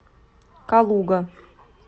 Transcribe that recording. калуга